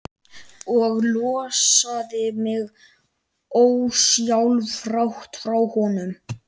Og losaði mig ósjálfrátt frá honum.